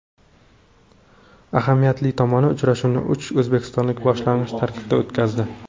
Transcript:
Ahamiyatli tomoni, uchrashuvni uch o‘zbekistonlik boshlang‘ich tarkibda o‘tkazdi.